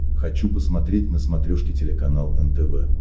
хочу посмотреть на смотрешке телеканал нтв